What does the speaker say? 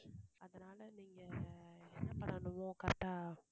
அதனால நீங்க என்ன பண்ணனுமோ correct ஆ